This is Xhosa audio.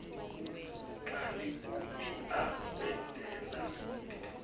kanti uia kwendela